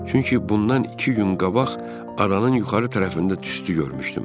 Çünki bundan iki gün qabaq aranın yuxarı tərəfində tüstü görmüşdüm.